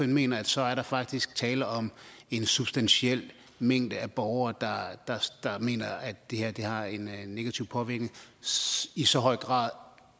mener at så er der faktisk tale om en substantiel mængde af borgere der mener at det her har en negativ påvirkning i så høj grad